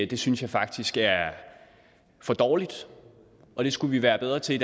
det synes jeg faktisk er for dårligt og det skulle vi være bedre til